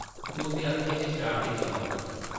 उसदी अक्खें च शरारती चमक ही ।